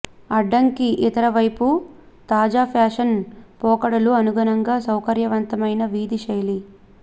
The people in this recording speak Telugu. అడ్డంకి ఇతర వైపు తాజా ఫ్యాషన్ పోకడలు అనుగుణంగా సౌకర్యవంతమైన వీధి శైలి